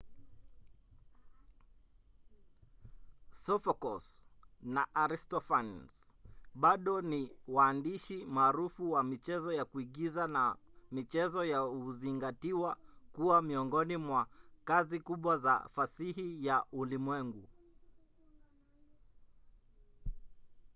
sophocles na aristophanes bado ni waandishi maarufu wa michezo ya kuigiza na michezo yao huzingatiwa kuwa miongoni mwa kazi kubwa za fasihi ya ulimwengu